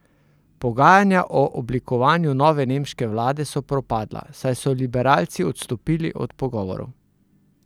Pogajanja o oblikovanju nove nemške vlade so propadla, saj so liberalci odstopili od pogovorov.